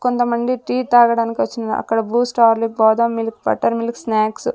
కొంతమంది టీ తాగడానికి వచ్చినార్ అక్కడ Boost Horlicks badam milk butter milk snacks --